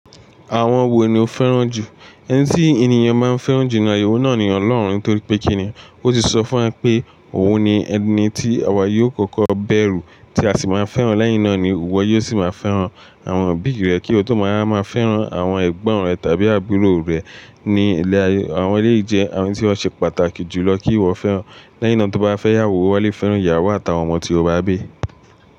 Àwọn wo ni o fẹ́ràn jù? Ẹni tí ènìyàn máa ń fẹ́ràn jù ní ayé òun náà ni Ọlọ́run nítorí pé kíni, ó ti sọ fún wa wípé òun ni ẹni tí àwa yóò kọ́kọ́ bẹ̀rù tí a sì máa fẹ́ràn lẹ́yìn náà ni ìwọ yóò sì wá fẹ́ràn àwọn òbí rẹ kí o tó máa wà máa fẹ́ràn àwọn ẹ̀gbọ́n rẹ tàbí àbúrò rẹ ní ilé ayé. Àwọn èlèyìí àwọn tí ó ṣe pàtàkì jù lọ kí ìwọ fẹ́ràn. Lẹ́yìn náà tó bá fẹ́yáwó, ó wá lè fẹ́ràn ìyàwó àtàwọn ọmọ tí o bá bí.